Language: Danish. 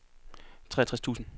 treogtres tusind